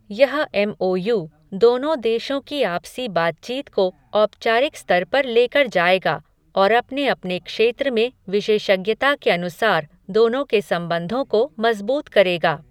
यह M O U दोनों देशों की आपसी बातचीत को औपचारिक स्तर पर लेकर जाएगा और अपने अपने क्षेत्र में विशेषज्ञता के अनुसार दोनों के संबंधों को मज़बूत करेगा।